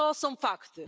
To są fakty.